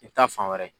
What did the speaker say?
I bɛ taa fan wɛrɛ